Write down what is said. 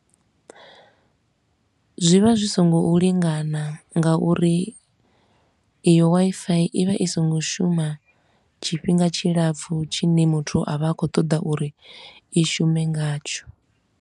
Zwi vha zwi so ngo u lingana nga uri iyo Wi-Fi i vha i so ngo shuma tshifhinga tshilapfu tshine muthu a vha a khou ṱoḓa uri i shume ngatsho.